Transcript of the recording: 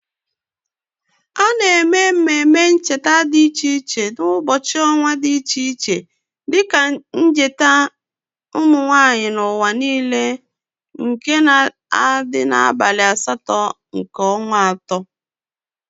Ana eme ememe ncheta di iche iche n'ubochi onwa di iche iche dike njeta umunwanyi n"uwa niile nke na adi n"abali asto nke onwa ato.